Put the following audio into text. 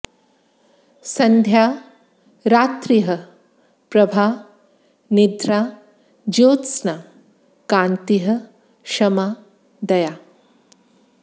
सन्ध्या रात्रिः प्रभा निद्रा ज्योत्स्ना कान्तिः क्षमा दया